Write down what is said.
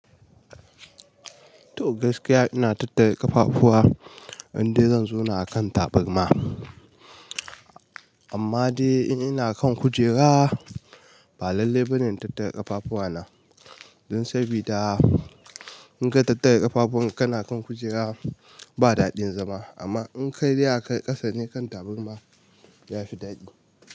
To gaskiya ina tattare ƙafafuwa, in dai zan zauna a kan tabarma. Amma de, in ina kan kujera, ba lallai bane in tattare ƙafafuwana. Don sabida, in ka tattara ƙafafuwan kana kan kujera, ba daɗin zama. Amma in ka dai akan ƙasa ne kan tabarma, ya fi daɗi.